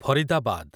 Faridabad